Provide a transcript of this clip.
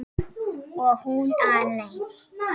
Og hún alein.